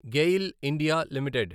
GAIL India limited